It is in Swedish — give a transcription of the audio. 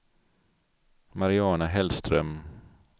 Mariana Hellström